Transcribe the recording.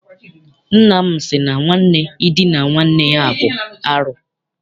Nna m sị na nwanne idina nwanne ya bụ arụ.